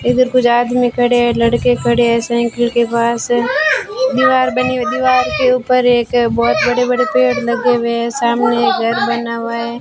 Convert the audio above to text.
इधर कुछ आदमी खड़े है लड़के खड़े है साइकिल के पास है दीवार बनी दीवार के ऊपर एक बहुत बड़े बड़े पेड़ लगे हुए है सामने एक घर बना हुआ है।